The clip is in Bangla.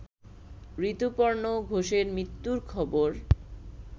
ঋতুপর্ণ ঘোষের মৃত্যুর খবর